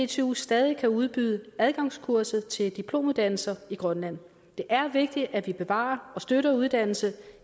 dtu stadig kan udbyde adgangskurset til diplomuddannelser i grønland det er vigtigt at vi bevarer og støtter uddannelse